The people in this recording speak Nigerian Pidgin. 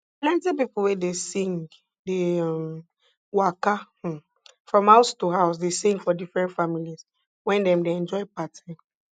plenty pipo wey dey sing dey um waka um from house to house dey sing for different families when dem dey enjoy party